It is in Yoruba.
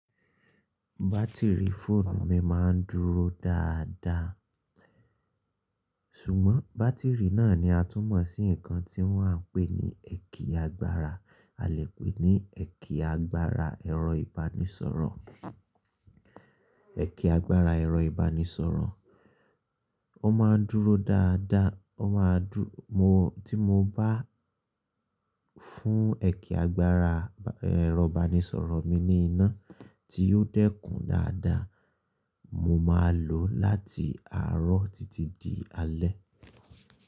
Bátìrì fóònù mi máa ń dúró dáadáa, ṣùgbọ́n bátìrì náà ni a tún mọ̀ sí nǹkan tí wọ́n à ń pè ní ẹ̀kì agbára, a lè pè ní ẹ̀kì agbára ẹ̀rọ ìbánisọ̀rọ̀. Ẹ̀kì agbára ẹ̀rọ ìbánisọ̀rọ̀. Ó máa ń dúró dáadáa, ó máa dú-- mo tí mo bá fún ẹ̀kì agbára ẹ̀rọ ìbánisọ̀rọ̀ mi ní iná tí yóò dẹ́kun dáadáa, mo máa lòó láti àárọ̀ títí di alẹ́.